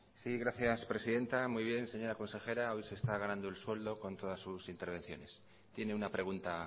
sí gracias presidenta muy bien señora consejera hoy se está ganando el sueldo con todas sus intervenciones tiene una pregunta